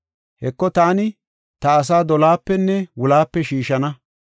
Heko taani ta asaa dolohapenne wulohape shiishana.